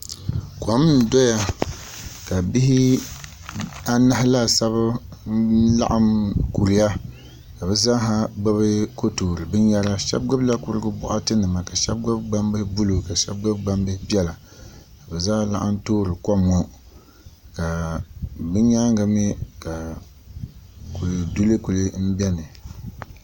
Kom n doya ka bihi anahi laasabu ka bi zaaha ku laɣam kuriya ka bi zaaha gbubi ko toori binyɛra shab gbubila kurigu boɣati nima ka shab gbubi gbambili buluu ka shab gbubi gbambihi piɛla ka bi zaa laɣam toori kom ŋo ka bi nyaangi mii ka kuli duli ku biɛni